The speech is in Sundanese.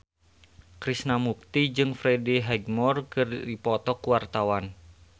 Krishna Mukti jeung Freddie Highmore keur dipoto ku wartawan